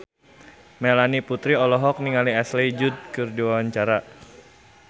Melanie Putri olohok ningali Ashley Judd keur diwawancara